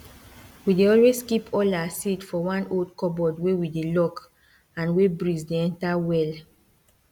we dey always keep all our seed for one old cupboard wey we dey lock and wey breeze dey enter well